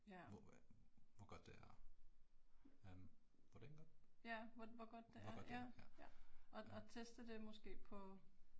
Hvor æh hvor godt det er. Øh hvordan godt? Hvor godt det er ja, ja